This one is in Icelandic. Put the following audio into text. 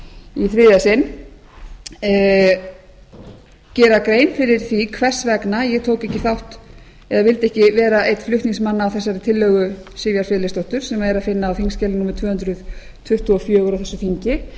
í þriðja sinn gera gera grein fyrir því hvers vegna ég vildi ekki vera einn flutningsmanna á þessari tillögu sivjar friðleifsdóttur sem er að finna á þingskjali númer tvö hundruð tuttugu og fjögur á þessu þingi